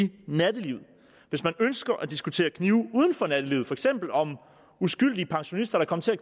nattelivet hvis man ønsker at diskutere knive uden for nattelivet for eksempel om uskyldige pensionister der kom til at